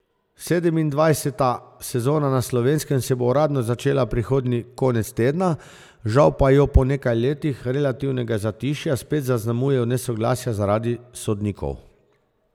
Sedemindvajseta sezona na Slovenskem se bo uradno začela prihodnji konec tedna, žal pa jo po nekaj letih relativnega zatišja spet zaznamujejo nesoglasja zaradi sodnikov.